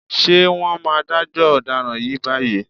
Ṣé wọ́n máa dájọ́ ọ̀daràn yìí báyìí?